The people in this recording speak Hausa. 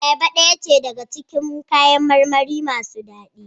Ayaba daya ce daga cikin kayan marmari masu dadi.